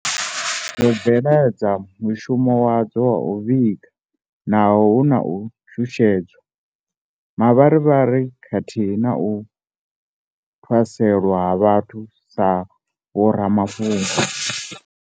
Dzo bveledza mushumo wadzo wa u vhiga naho hu na u shushedzwa, mavharivhari khathihi na u ṱhaselwa ha vhathu sa vhoramafhungo.